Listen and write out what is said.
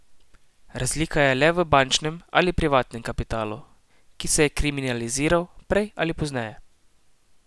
Razlika je le v ali bančnem ali privatnem kapitalu, ki se je kriminaliziral prej ali pozneje.